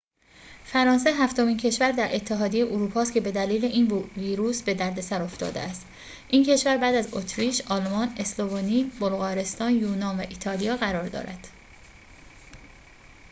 فرانسه هفتمین کشور در اتحادیه اروپا است که بدلیل این ویروس به دردسر افتاده است این کشور بعد از اتریش آلمان اسلوونی بلغارستان یونان و ایتالیا قرار دارد